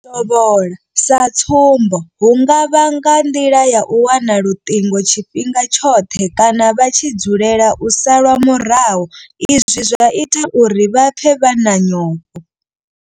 U tovhola sa tsumbo hu nga vha nga nḓila ya u wana luṱingo tshifhinga tshoṱhe kana vha tshi dzulela u salwa murahu izwi zwa ita uri vha pfe vha na nyofho.